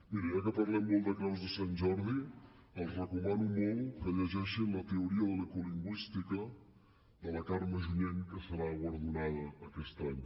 miri ja que parlem molt de creus de sant jordi els recomano molt que llegeixin la teoria de l’ecolingüística de la carme junyent que serà guardonada aquest any